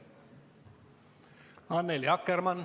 Annely Akkermann.